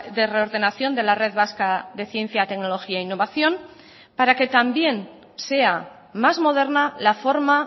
de reordenación de la red vasca de ciencia tecnología e innovación para que también sea más moderna la forma